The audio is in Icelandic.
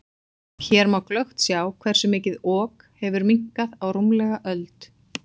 Hér má glöggt sjá hversu mikið Ok hefur minnkað á rúmlega öld.